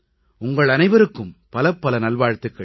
உங்கள் அனைவருக்கும் பலபல நல்வாழ்த்துகள்